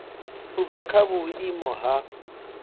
u bva kha vhuimo ha